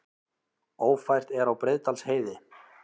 Ófært er á Breiðdalsheiði